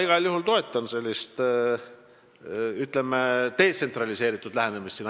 Igal juhul ma toetan sellist, ütleme, detsentraliseeritud lähenemist.